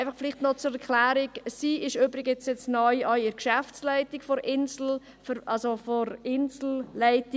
Einfach noch zur Erklärung: Sie ist jetzt neu auch in der Geschäftsleitung der Inselleitung.